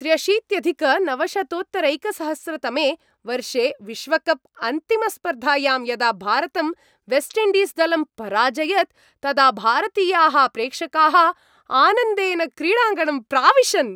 त्र्यशीत्यधिकनवशतोत्तरैकसहस्रतमे वर्षे विश्वकप् अन्तिमस्पर्धायां यदा भारतं वेस्ट् इण्डीस् दलं पराजयत तदा भारतीयाः प्रेक्षकाः आनन्देन क्रीडाङ्गणं प्राविशन्।